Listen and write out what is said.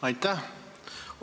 Aitäh!